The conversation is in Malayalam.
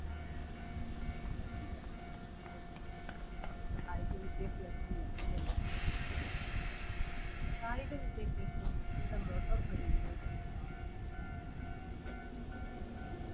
സഹായിക്കുന്ന കായിക വിദ്യാഭ്യാസം ലക്ഷ്യങ്ങൾ കായിക വിദ്യാഭ്യാസം കുട്ടിയുടെ motor കഴിവുകൾ തന്റെ മാനസിക ശാരീരിക ഗുണങ്ങൾ അതുപോലെ തന്നെ